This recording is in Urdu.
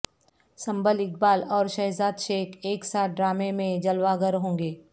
سنبل اقبال اور شہزاد شیخ ایک ساتھ ڈرامے میں جلوہ گر ہوں گے